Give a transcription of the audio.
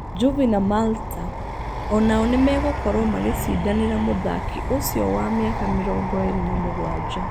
Juvi na Malta o nao nĩmegũkorwo magĩcindanĩra mũthaki ũcio wa mĩaka mĩrongo ĩrĩ na mũgwanja.